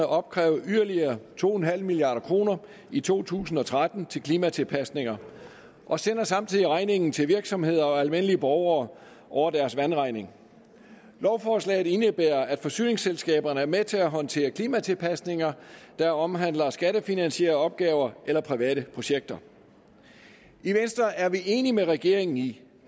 opkræve yderligere to milliard kroner i to tusind og tretten til klimatilpasninger og sender samtidig regningen til virksomheder og almindelige borgere over deres vandregning lovforslaget indebærer at forsyningsselskaberne er med til at håndtere klimatilpasninger der omhandler skattefinansierede opgaver eller private projekter i venstre er vi enige med regeringen i